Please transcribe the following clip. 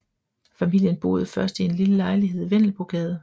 Familien boede først i en lille lejlighed i Vendelbogade